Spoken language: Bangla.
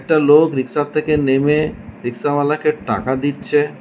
একটা লোক রিক্সা এর থেকে নেমে রিক্সা ওয়ালাকে টাকা দিচ্ছে।